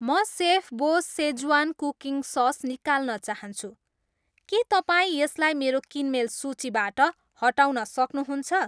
म सेफबोस Schezwan cooking sauce निकाल्न चाहन्छु, के तपाईँ यसलाई मेरो किनमेल सूचीबाट हटाउन सक्नुहुन्छ?